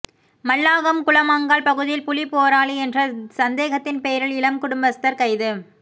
மல்லாகம் குளமங்கால் பகுதியில் புலிப் போராளி என்ற சந்தேகத்தின் பெயரில் இளம் குடும்பஸ்தர் கைது